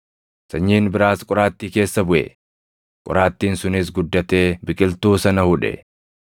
Sanyiin biraas qoraattii keessa buʼe; qoraattiin sunis guddatee biqiltuu sana hudhe.